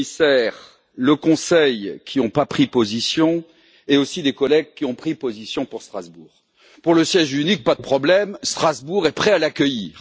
le Commissaire et le Conseil, qui n'ont pas pris position, ainsi que les collègues qui ont pris position en faveur de Strasbourg. Pour le siège unique, pas de problème, Strasbourg est prêt à l'accueillir.